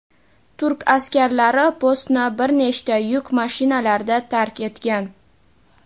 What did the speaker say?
turk askarlari postni bir nechta yuk mashinalarida tark etgan.